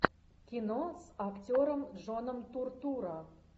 кино с актером джоном туртурро